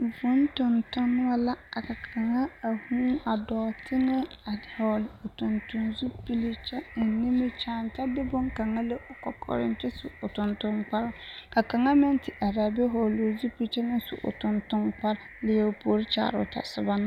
Vūū tontonemo la a taa a vūū a dɔɔ teŋɛ a hɔɔli o tontonzupili kyɛ eŋ nimikyaane kyɛ de bone kaŋa le o kɔkɔreŋ kyɛ su o tontonkparoo ka kaŋa meŋ te are a be vɔɔli o zupili kyɛ su o tontoŋkparoo leɛ o puori kyaare o tɔsoba na .